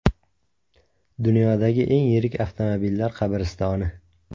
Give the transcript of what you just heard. Dunyodagi eng yirik avtomobillar qabristoni .